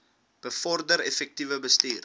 bevorder effektiewe bestuur